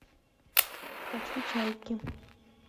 хочу чайки